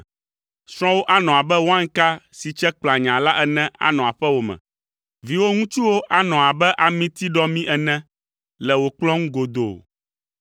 Srɔ̃wò anɔ abe wainka si tse kplanyaa la ene anɔ aƒewò me; viwò ŋutsuwo anɔ abe amitiɖɔmi ene le wò kplɔ̃ ŋu godoo.